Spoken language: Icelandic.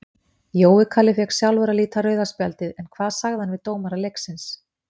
Jói Kalli fékk sjálfur að líta rauða spjaldið en hvað sagði hann við dómara leiksins?